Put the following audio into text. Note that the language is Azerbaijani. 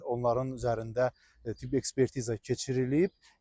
Onların üzərində tibbi ekspertiza keçirilib.